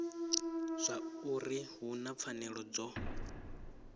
zwauri hu na pfanelo dzo